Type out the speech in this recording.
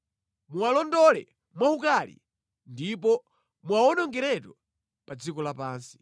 Muwalondole mwaukali ndipo muwawonongeretu pa dziko lapansi.